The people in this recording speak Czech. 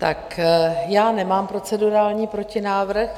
Tak já nemám procedurální protinávrh.